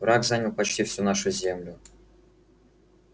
враг занял почти всю нашу землю